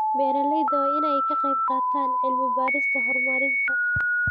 Beeralayda waa in ay ka qayb qaataan cilmi-baarista horumarinta.